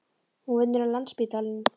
Hún vinnur á Landspítalanum.